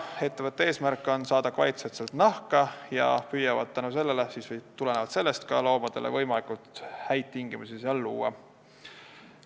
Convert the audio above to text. Ettevõtte eesmärk on saada kvaliteetset nahka ja nad püüavad tulenevalt sellest ka loomadele võimalikult häid tingimusi luua.